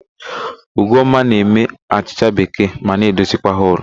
Ugomma na-eme achịcha bekee ma na-edozikwa họlụ.